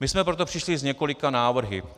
My jsme proto přišli s několika návrhy.